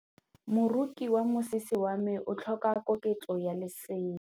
Moroki wa mosese wa me o tlhoka koketsô ya lesela.